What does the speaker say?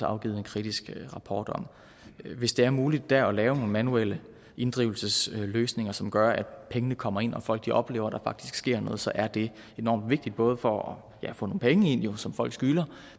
afgivet en kritisk rapport om hvis det er muligt der at lave nogle manuelle inddrivelsesløsninger som gør at pengene kommer ind og folk oplever at der faktisk sker noget så er det enormt vigtigt både for at få nogle penge ind som folk skylder